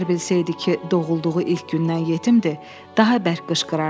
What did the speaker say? Əgər bilsəydi ki, doğulduğu ilk gündən yetimdir, daha bərk qışqırardı.